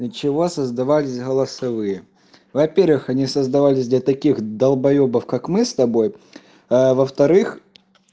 для чего создавались голосовые во первых они создавались для таких долбоёбов как мы с тобой а во вторых